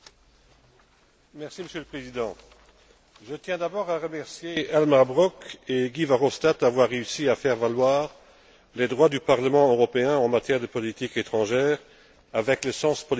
Monsieur le Président, je tiens d'abord à remercier Elmar Brok et GuyVerhofstadt d'avoir réussi à faire valoir les droits du Parlement européen en matière de politique étrangère, avec le sens politique qui est le leur.